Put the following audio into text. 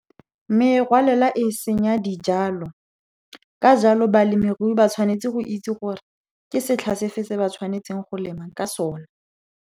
Merwalela e senya dijalo. Ka jalo, balemirui ba tshwanetse go itse gore ke setla se fe se ba tshwanetseng go lema ka sona.